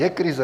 Je krize.